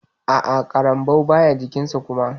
A'a ƙarambau baya jikin sa kuma.